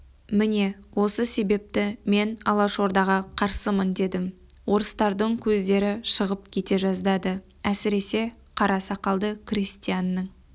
міне осы себепті мен алашордаға қарсымын дедім орыстардың көздері шығып кете жаздады әсіресе қара сақалды крестьянның